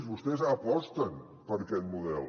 vostès aposten per aquest model